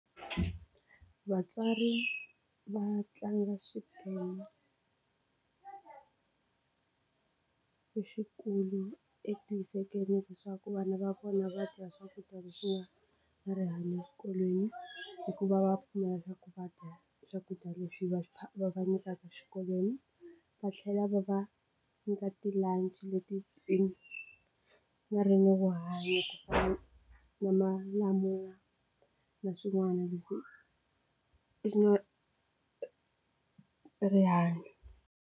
Vatswari va tlanga xiphemu lexikulu eku hisekeleni leswaku vana va vona va dya swakudya leswi va va rihanyo eswikolweni hikuva va pfumela leswaku va dya swakudya leswi va va va nyikaka xikolweni va tlhela va va nyika ti lunch leti nga na rihanyo ku fana na malamula na swin'wana leswi nga na rihanyo.